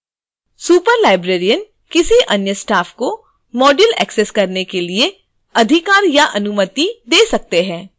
superlibrarian किसी अन्य staff को module एक्सेस करने के लिए अधिकार या अनुमति दे सकते हैं